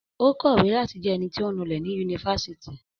Ó kọ̀wé láti jẹ ẹnití ọ̀ ń nulẹ̀ ní ifásitì